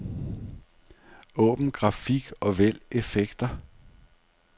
Åbn grafik og vælg effekter.